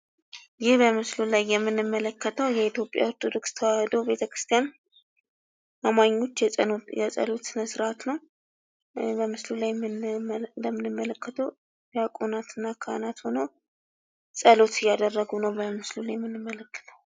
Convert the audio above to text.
ይህ በምስሉ ላይ የምንመለከተው የኢትዮጵያ ኦርቶዶክስ ተዋህዶ ቤተ ክርስቲያን አማኞች የፀሎት የጸሎት ስነ-ስርዓት ነው። በምስሉ ላይ የምንመለ እንደምንመለከተው ዲያቆናትና ካህናት ሆነው ጸሎት እያደረጉ ነው በምስሉ ላይ የምንመለከተው።